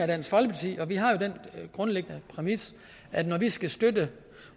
dansk folkeparti og vi har jo den grundlæggende præmis at når vi skal støtte